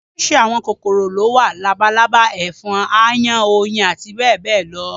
Oríṣiríṣi àwọn kòkòrò ni ó wà: labalábá, ẹ̀fọn, aáyán, oyin àti bẹ́ẹ̀ bẹ́ẹ̀ lọ